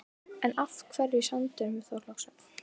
En af hverju sandurinn við Þorlákshöfn?